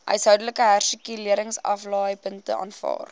huishoudelike hersirkuleringsaflaaipunte aanvaar